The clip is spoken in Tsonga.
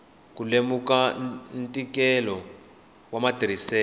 ku lemuka ntikelo wa matirhiselo